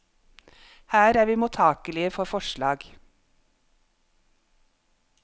Her er vi mottakelige for forslag.